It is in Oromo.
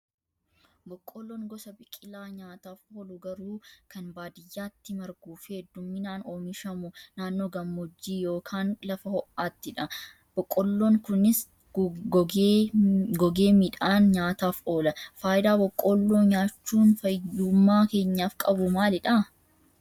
Boqqoolloon gosa biqilaa nyaataaf oolu garuu kan baadiyyaatti marguu fi hedduminaan oomishamu naannoo gammoojjii yookaan lafa ho'aattidha. Boqqooloon kunis gogee midhaan nyaataaf oola. Fayidaa boqqoolloo nyaachuun fayyummaa keenyaaf qabu maalidhaa?